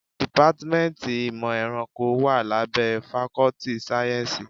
Dìpátmẹ́ntì ìmọ̀ ẹranko wá lábẹ́ fakọ́ltì sáyẹ́nsì.